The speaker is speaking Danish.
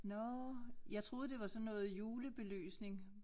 Nåh jeg troede det var sådan noget julebelysning